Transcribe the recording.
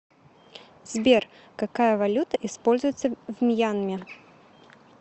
сбер какая валюта используется в мьянме